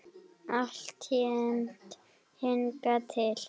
Alltént hingað til.